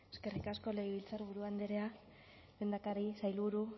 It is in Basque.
eskerrik asko legebiltzarburu andrea lehendakari sailburu